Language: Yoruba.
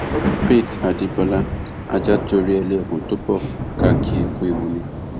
faith adébọlá ajá tó relé ẹkùn tó bó ká kì í ku ewu ni